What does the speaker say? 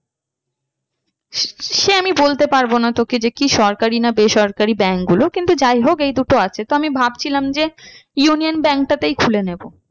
সে আমি বলতে পারবো না তোকে যে কি সরকারি না বেসরকারি bank গুলো কিন্তু যাই হোক এই দুটো আছে তো আমি ভাবছিলাম যে union bank টাতেই খুলে নেবো।